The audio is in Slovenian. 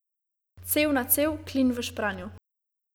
Cev na cev, klin v špranjo.